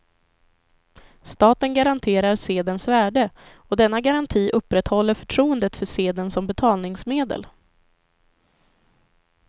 Staten garanterar sedelns värde och denna garanti upprätthåller förtroendet för sedeln som betalningsmedel.